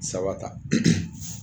Saba ta